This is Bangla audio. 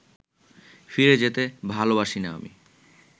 ফিরে যেতে ভালোবাসি না আমি